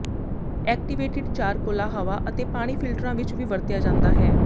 activated ਚਾਰ ਕੋਲਾ ਹਵਾ ਅਤੇ ਪਾਣੀ ਫਿਲਟਰਾਂ ਵਿੱਚ ਵੀ ਵਰਤਿਆ ਜਾਂਦਾ ਹੈ